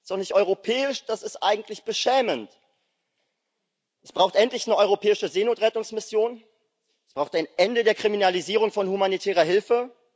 Das ist doch nicht europäisch, das ist eigentlich beschämend! Es braucht endlich eine europäische Seenotrettungsmission, es braucht ein Ende der Kriminalisierung von humanitärer Hilfe.